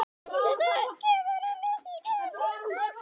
Þetta gefur að lesa í neðra hluta dálksins